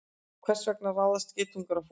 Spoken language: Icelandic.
Hvers vegna ráðast geitungar á fólk?